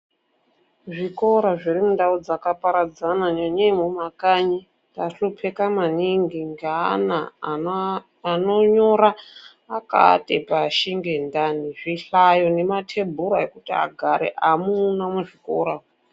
Zvikora zviri mundau dzakaparadzana nyanyei mumakanyi tahlupika maningi ngeana anonyora akaate pashi ngendani. Zvihlayo nemathebhura zvekuti agare amuna muzvikora.